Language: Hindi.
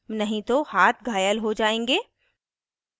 नहीं तो हाथ घायल हो जायेंगे